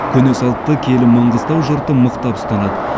көне салтты киелі маңғыстау жұрты мықтап ұстанады